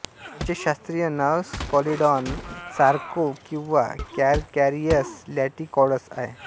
त्याचे शास्त्रीय नाव स्कॉलिडान सॉरकोव्ह किंवा कॅरकॅरिअस लॅटिकॉडस आहे